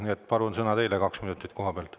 Nii et palun, sõna on teil, kaks minutit koha pealt.